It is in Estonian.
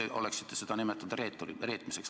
Teie oleksite seda vanasti nimetanud reetmiseks.